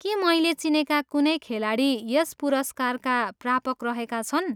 के मैले चिनेका कुनै खेलाडी यस पुरस्कारका प्रापक रहेका छन्?